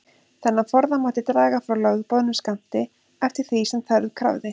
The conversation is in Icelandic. Þennan forða mátti draga frá lögboðnum skammti, eftir því sem þörf krafði.